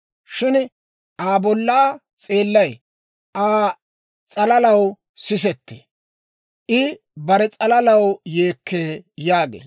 Shin Aa bollaa seelay Aa s'alalaw sisettee; I bare s'alalaw yeekkee» yaageedda.